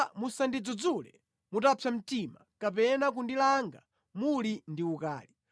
Yehova musandidzudzule mutapsa mtima kapena kundilanga muli ndi ukali.